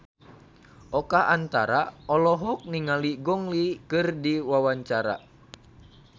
Oka Antara olohok ningali Gong Li keur diwawancara